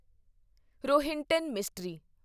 Rohinton mystery